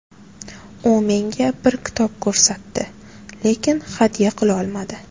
U menga bir kitob ko‘rsatdi, lekin hadya qilolmadi.